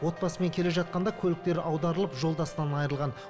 отбасымен келе жатқанда көліктері аударылып жолдасынан айрылған